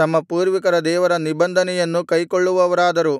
ತಮ್ಮ ಪೂರ್ವಿಕರ ದೇವರ ನಿಬಂಧನೆಯನ್ನು ಕೈಕೊಳ್ಳುವವರಾದರು